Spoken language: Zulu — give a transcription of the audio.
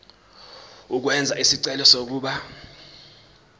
ukwenza isicelo sokuba